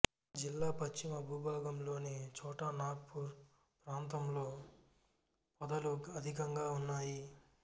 జిల్లా పశ్చిమ భూభాగంలోని చోటా నాగ్పూర్ ప్రాంతంలో పొదలు అధికంగా ఉన్నాయి